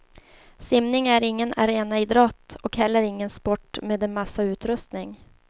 Simningen är ingen arenaidrott, och heller ingen sport med en massa utrustning.